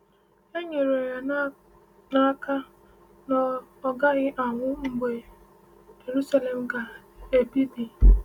E nyere ya n’aka na ọ gaghị anwụ mgbe Jeruselem ga-ebibi.